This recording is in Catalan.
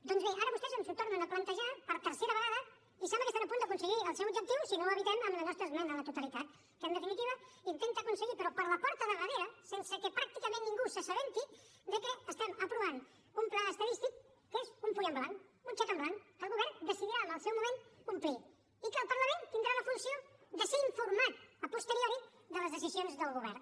doncs bé ara vostès ens ho tornen a plantejar per tercera vegada i sembla que estan a punt d’aconseguir el seu objectiu si no ho evitem amb la nostra esmena a la totalitat que en definitiva intenta aconseguir però per la porta de darrere sense que pràcticament ningú se n’assabenti que estem aprovant un pla estadístic que és un full en blanc un xec en blanc que el govern decidirà en el seu moment omplir i que el parlament tindrà la funció de ser informat a posteriori de les decisions del govern